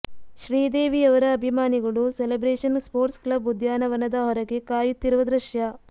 ಶ್ರೀದೇವಿ ಅವರ ಅಭಿಮಾನಿಗಳು celebration sports club ಉದ್ಯಾನವನದ ಹೊರಗೆ ಕಾಯುತ್ತಿರುವ ದೃಶ್ಯ